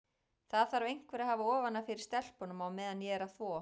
Það þarf einhver að hafa ofan af fyrir stelpunum á meðan ég er að þvo.